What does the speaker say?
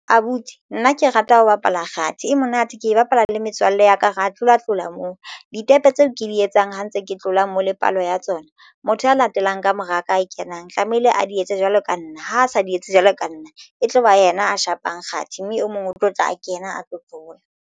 Abuti nna ke rata ho bapala kgathi e monate ke e bapala le metswalle ya ka re ya tlola tlola moo ditepe tseo ke di etsang ha ntse ke tlola mo le palo ya tsona motho a latelang ka mora ka e kenang tlamehile a di etse jwalo ka nna ha a sa di etse jwalo ka nna e tloba yena a shapang kgathi mme e mong o tlo tla kena a tlo tlola.